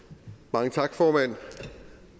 mange tak formand